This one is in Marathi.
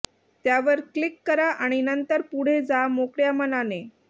त्यावर क्लिक करा आणि नंतर पुढे जा मोकळ्या मनाने